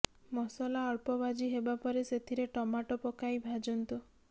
ମସଲା ଅଳ୍ପ ଭାଜି ହେବାପରେ ସେଥିରେ ଟମାଟୋ ପକାଇ ଭାଜନ୍ତୁ